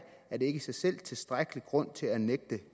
er det ikke i sig selv tilstrækkelig grund til at nægte